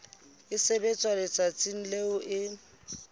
e sebetswa letsatsing leo e